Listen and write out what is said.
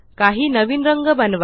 काही नवीन रंग बनवा